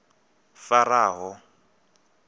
faraho